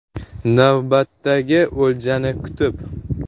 Navbatdagi o‘ljani kutib.